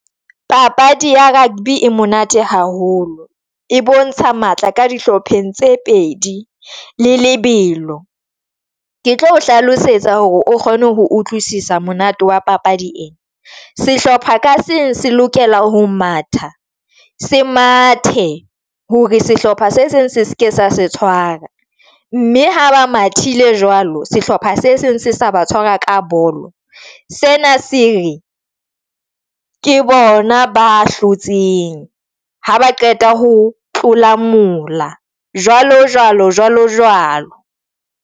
Papadi ya rugby e monate haholo e bontsha matla ka dihlopheng tse pedi le lebelo. Ke tlo o hlalosetsa hore o kgone ho utlwisisa monate wa papadi ya sehlopha ka seng se lokela ho matha se mathe hore sehlopha se seng se seke sa se tshwara, mme ha ba mathile jwalo sehlopha se seng se sa ba tshwara ka bolo se .Ke bona ba hlotseng ha ba qeta ho tlola mola jwalo, jwalo, jwalo.